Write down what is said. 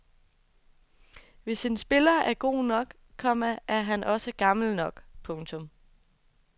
Hvis en spiller er god nok, komma er han også gammel nok. punktum